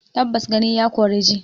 Tabbas gani ya kori ji